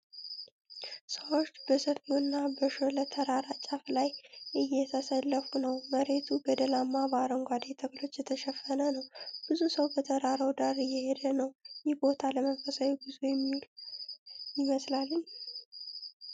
ሰዎች በሰፊውና በሾለ ተራራ ጫፍ ላይ እየተሰለፉ ነው። መሬቱ ገደላማና በአረንጓዴ ተክሎች የተሸፈነ ነው። ብዙ ሰው በተራራው ዳር እየሄደ ነው። ይህ ቦታ ለመንፈሳዊ ጉዞ የሚውል ይመስላልን?